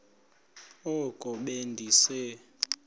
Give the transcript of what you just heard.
oko be ndise